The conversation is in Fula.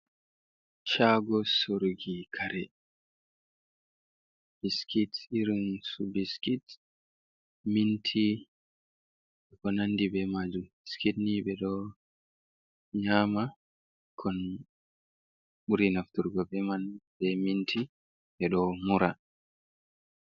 Shaago soruki kare, biskit, irinsu biskit, minti ko nandi bee majum, biskit nii ɓe ɗo nyama kon ɓuri nafturki bee man, bee minti ɓe ɗo mura.